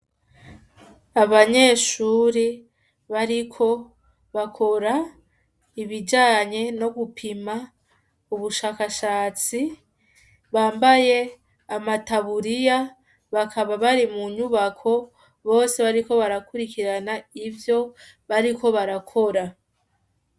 Abanyeshuri bariko bakora ibijanye no gupima ubushakashatsi bambaye amataburiya bakaba bari mu nyubako bose bariko barakurikirana ivyo bariko barakora.`